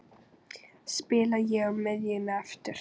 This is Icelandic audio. Spila ég á miðjunni aftur?